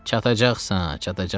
Çatacaqsan, çatacaqsan.